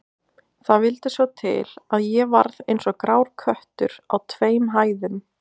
Það vildi svo til, að ég varð eins og grár köttur á tveim hæðum